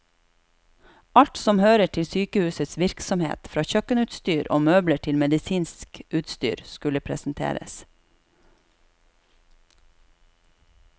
Alt som hører til sykehusets virksomhet, fra kjøkkenutstyr og møbler til medisinsk utstyr, skulle presenteres.